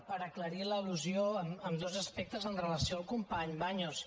per aclarir l’al·lusió en dos aspectes amb relació al company baños